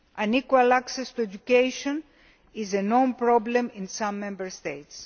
Equal access to education is a known problem in some Member States.